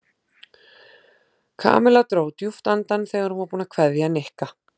Kamilla dró djúpt andann þegar hún var búin að kveðja Nikka.